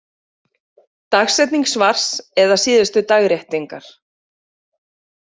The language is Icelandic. Dagsetning svars eða síðustu dagréttingar.